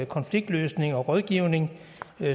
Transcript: konfliktløsning og rådgivning